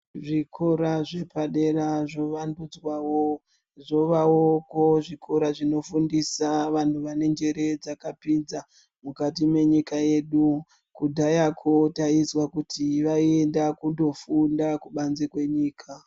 Zvikora zvepadera zvovandudzwawo zvovawoko zvikora zvinofundisa vantu vanenjere dzakapinza mukati menyika yedu kudhayako taizwa kuti vaiyenda kunofunda kubanze kwenyika.